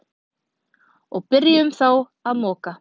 Og byrjuðum þá að moka.